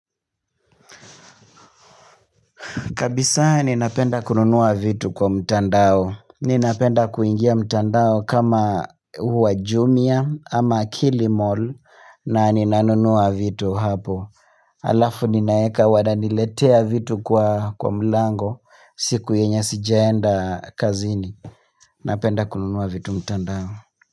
Kabisa ninapenda kununua vitu kwa mtandao. Ninapenda kuingia mtandao kama huu wa jumia ama kilimall na ninanunua vitu hapo. Alafu ninaeka wananiletea vitu kwa mlango siku yenye sijaenda kazini. Napenda kununuwa vitu mtandao.